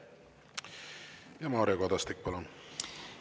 Mario Kadastik, palun!